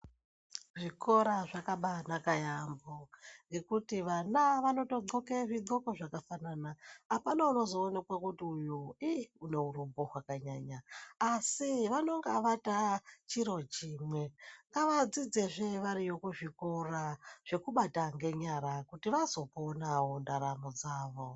Zvikora zvakabanaka yaambo ngekuti vana vanotodxoke zvidxoko zvakafanana. Apana unozoonekwa kuti uyu une urombp hwakanyanya asi vanonga vatachiro chimwe. Ngavadzidzezve variyo kuzvikora zvekubate ngenyara kuti vazoponawo ndaramo dzavo.